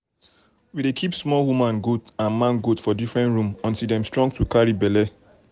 we dey keep small woman goat and man goat for different room until dem strong to carry belle